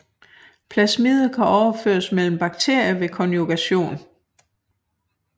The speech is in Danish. Plasmider kan overføres mellem bakterier ved konjugation